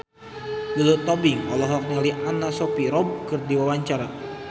Lulu Tobing olohok ningali Anna Sophia Robb keur diwawancara